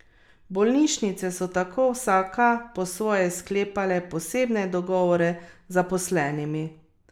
Bolnišnice so tako vsaka po svoje sklepale posebne dogovore z zaposlenimi.